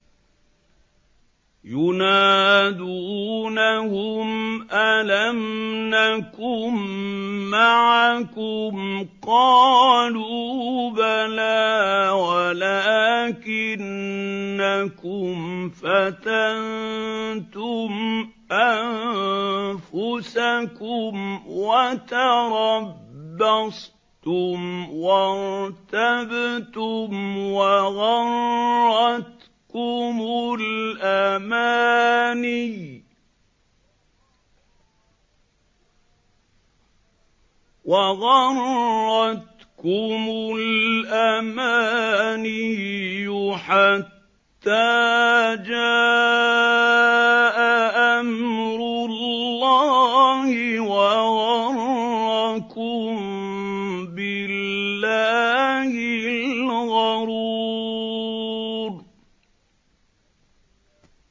يُنَادُونَهُمْ أَلَمْ نَكُن مَّعَكُمْ ۖ قَالُوا بَلَىٰ وَلَٰكِنَّكُمْ فَتَنتُمْ أَنفُسَكُمْ وَتَرَبَّصْتُمْ وَارْتَبْتُمْ وَغَرَّتْكُمُ الْأَمَانِيُّ حَتَّىٰ جَاءَ أَمْرُ اللَّهِ وَغَرَّكُم بِاللَّهِ الْغَرُورُ